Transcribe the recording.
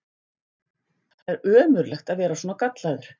Það er ömurlegt að vera svona gallaður!